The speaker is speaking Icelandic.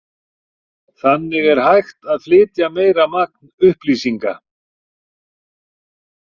Þannig er hægt að flytja meira magn upplýsinga.